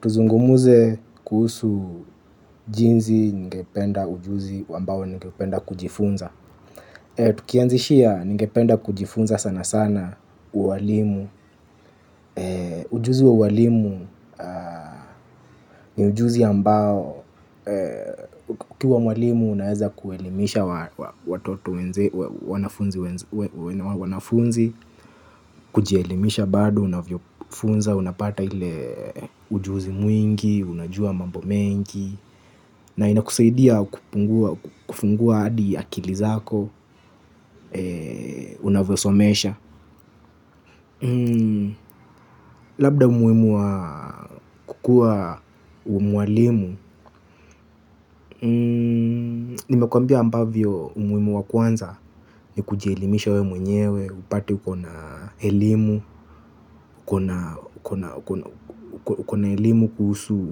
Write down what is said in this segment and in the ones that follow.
Tuzungumuze kuhusu jinzi ningependa ujuzi wambawo ningependa kujifunza. Tukianzishia ningependa kujifunza sana sana uwalimu. Ujuzi wa uwalimu ni ujuzi ambao. Ukiuwa mwalimu unaeza kuelimisha watoto wanafunzi. Kujielimisha bado unavyofunza, unapata hile ujuzi mwingi, unajua mambo mengi. Na inakuseidia kufungua adi akili zako. Unavosomesha. Labda umuwimu wa kukua umwalimu. Nimekwambia ambavyo umuwimu wa kwanza. Ni kujelimisha we mwenyewe. Upate uko na elimu. Uko na elimu kuhusu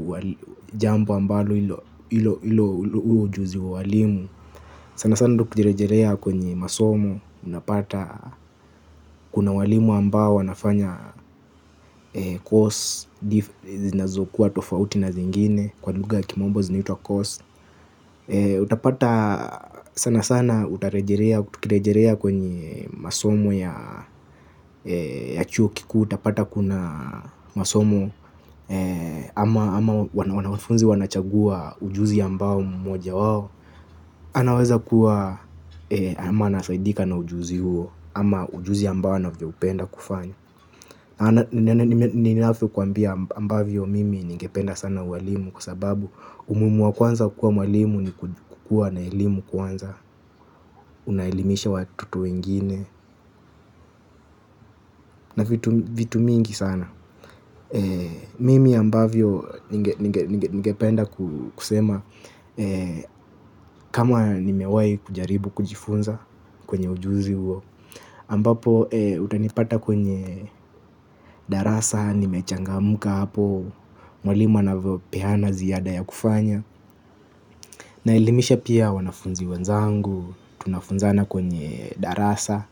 jambo ambalo ilo ujuzi walimu. Sana sana kujerejerea kwenye masomo. Unapata kuna walimu ambao wanafanya cos. Zinazokuwa tofauti na zingine. Kwa luga ya kimombo zinitwa cost. Utapata sana sana utarejerea kwenye masomo ya chuo kiku. Utapata kuna masomo ama wanafunzi wanachagua ujuzi ambao mmoja wao anaweza kuwa ama anasaidika na ujuzi huo. Ama ujuzi ambao anavyo upenda kufanya. Na ninafyo kuambia ambavyo mimi ningependa sana uwalimu. Kua sababu umumu wa kwanza kukua uwalimu ni kukua na elimu kwanza. Unaelimisha watoto wengine na vitu mingi sana. Mimi ambavyo ningependa kusema. Kama nimewayi kujaribu kujifunza kwenye ujuzi huo ambapo utanipata kwenye darasa, nimechangamuka hapo, mwalimu anavopehana ziyada ya kufanya. Naelimisha pia wanafunzi wanzangu, tunafunzana kwenye darasa,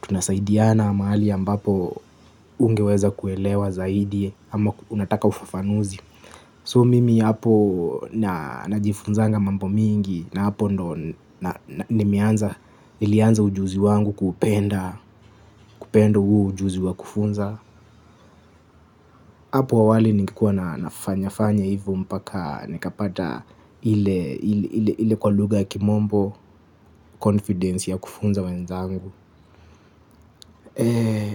tunasaidiana mahali ambapo ungeweza kuelewa zaidi, ama unataka ufafanuzi. So mimi hapo najifunzanga mambo mingi na hapo ndo ilianza ujuzi wangu kupenda uo ujuzi wa kufunza. Hapo awali ningekuwa na nafanyafanya hivo mpaka nikapata ile kwa luga kimombo confidence ya kufunza wenzangu. Eee,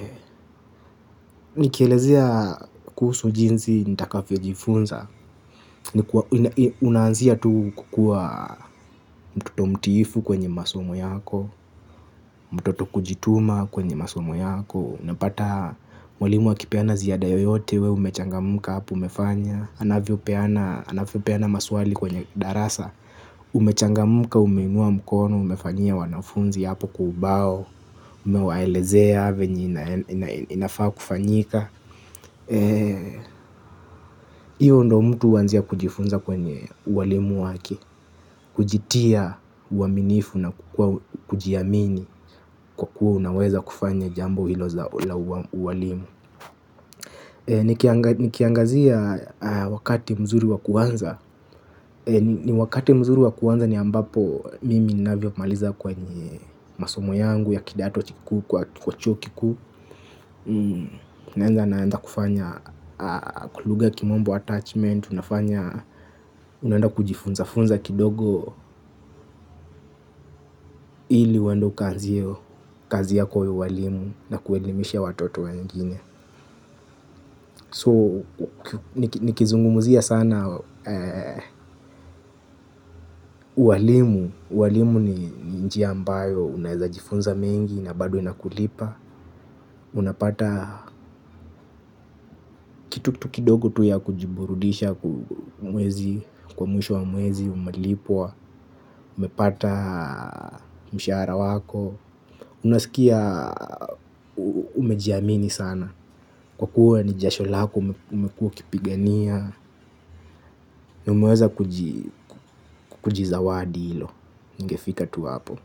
nikielezea kuhusu jinzi nitakafio jifunza. Unanzia tu kukua mtoto mtifu kwenye masomo yako. Mtoto kujituma kwenye masomo yako. Napata mwalimu akipeana ziada yoyote we umechangamuka hapo umefanya. Anavio peana maswali kwenye darasa. Umechangamuka umeinua mkono umefanyia wanafunzi hapo kwa ubao. Umewaelezea venye inafaa kufanyika. Iyo ndo mtu wanzia kujifunza kwenye uwalimu wake. Kujitia uaminifu na kujiamini kwa kuwa unaweza kufanya jambo hilo za uwalimu. Nikiangazia wakati mzuri wakuanza. Ni wakati mzuri wakuanza ni ambapo mimi ninafyo maliza kwenye masomo yangu ya kidato chiku kwa chuo ki kuku naenda naenda kufanya, kwa luga ya kimombo attachment, unaenda kujifunza, funza kidogo ili uendo ukaanzie kazi yako ya ualimu na kuelimisha watoto wengine. So, nikizungumzia sana uwalimu, uwalimu ni njia ambayo unawezajifunza mengi na bado inakulipa. Unapata kitu tu kidogo tu ya kujiburudisha mwezi, kwa mwisho wa mwezi, umelipwa, umepata mshahara wako unasikia umejiamini sana, kwa kuwa ni jasho lako, umekuwa ukipigania, na umeweza kujizawadi hilo ningefika tu hapo.